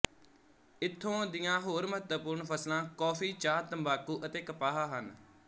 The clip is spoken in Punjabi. ਇੱਥੋਂ ਦੀਆਂ ਹੋਰ ਮਹੱਤਵਪੂਰਨ ਫ਼ਸਲਾਂ ਕੌਫੀ ਚਾਹ ਤੰਬਾਕੂ ਅਤੇ ਕਪਾਹ ਹਨ